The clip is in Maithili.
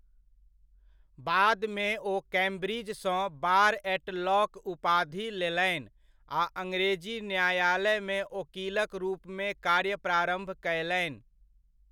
बादमे ओ कैम्ब्रिज सँ बार ऐट लऽ कऽ उपाधि लेलनि आ अङ्ग्रेजी न्यायालमे ओकीलक रूपमे कार्य प्रारम्भ कयलनि।